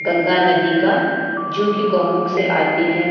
गंगा नदी का जो की गोमुख से आती है।